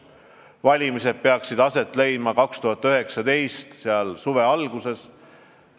Valimised peaksid aset leidma 2019. aasta suve alguses.